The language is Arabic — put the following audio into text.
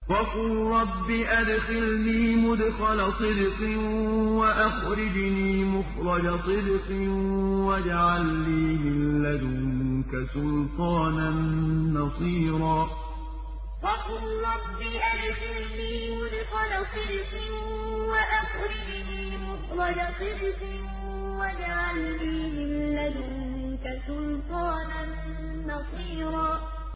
وَقُل رَّبِّ أَدْخِلْنِي مُدْخَلَ صِدْقٍ وَأَخْرِجْنِي مُخْرَجَ صِدْقٍ وَاجْعَل لِّي مِن لَّدُنكَ سُلْطَانًا نَّصِيرًا وَقُل رَّبِّ أَدْخِلْنِي مُدْخَلَ صِدْقٍ وَأَخْرِجْنِي مُخْرَجَ صِدْقٍ وَاجْعَل لِّي مِن لَّدُنكَ سُلْطَانًا نَّصِيرًا